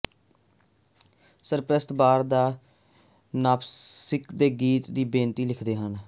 ਸਰਪ੍ਰਸਤ ਬਾਰ ਨਾਪਕਿਨਸ ਤੇ ਗੀਤ ਦੀ ਬੇਨਤੀ ਲਿਖਦੇ ਹਨ